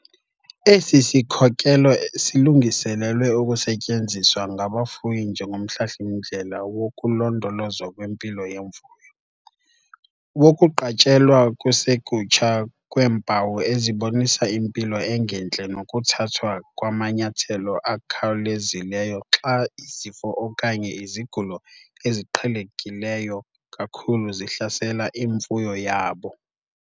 Esi sikhokelo silungiselelwe ukusetyenziswa ngabafuyi njengomhlahli-mndlela wokulondolozwa kwempilo yemfuyo, wokuqatshelwa kusekutsha kweempawu ezibonisa impilo engentle nokuthathwa kwamanyathelo akhawulezileyo xa izifo okanye izigulo eziqhelekileyo kakhulu zihlasela imfuyo yabo.